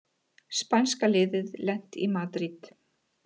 Spænska liðið lent í Madríd